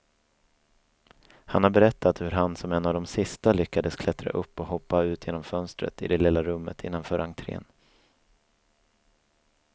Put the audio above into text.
Han har berättat hur han som en av de sista lyckas klättra upp och hoppa ut genom fönstret i det lilla rummet innanför entrén.